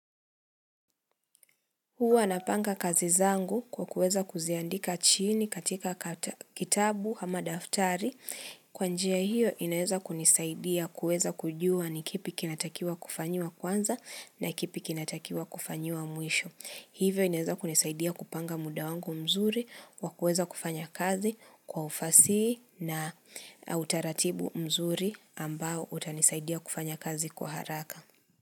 Huwa napanga kazi zangu kwa kuweza kuziandika chini katika kitabu ama daftari kwa njia hiyo inaweza kunisaidia kuweza kujua ni kipi kinatakiwa kufanyiwa kwanza na kipi kinatakiwa kufanyiwa mwisho. Hivyo inaweza kunisaidia kupanga muda wangu mzuri wa kuweza kufanya kazi kwa ufasi na utaratibu mzuri ambao utanisaidia kufanya kazi kwa haraka.